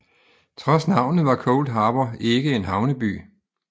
Trods navnet var Cold Harbor ikke en havneby